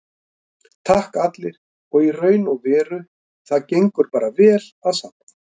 Takk allir, í raun og veru og það gengur bara vel að safna.